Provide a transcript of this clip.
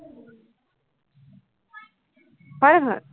হয়, নহয়?